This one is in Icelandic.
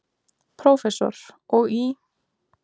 Prófessor, og í